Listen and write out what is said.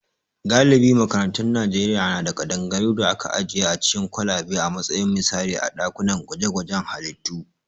Galibin makarantun Najeriya na da kadangaru da aka ajiye a cikin kwalabe a matsayin misali a dakunan gwaje-gwajen halittu